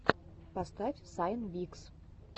поставь сайн фикс